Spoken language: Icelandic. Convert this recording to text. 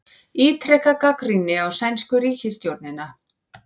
Ítreka gagnrýni á sænsku ríkisstjórnina